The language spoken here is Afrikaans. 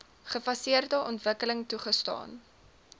gefaseerde ontwikkeling toegestaan